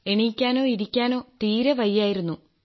എണീക്കാനോ ഇരിക്കാനോ തീരെ വയ്യായിരുന്നു